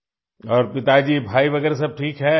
जी और पिताजी भाई वगैरा सब ठीक हैं